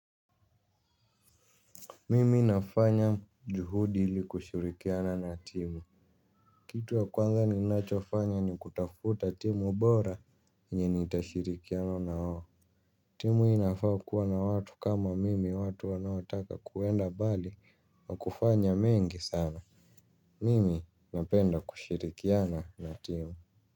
Mimi nafanya juhudi ili kushirikiana na timu. Kitu ya kwanza ninachofanya ni kutafuta timu bora yenye nitashirikiana na wao. Timu inafaa kuwa na watu kama mimi watu wanaotaka kuenda mbali wa kufanya mengi sana. Mimi napenda kushirikiana na timu.